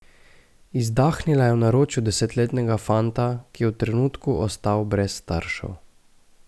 Izdahnila je v naročju desetletnega fanta, ki je v trenutku ostal brez staršev.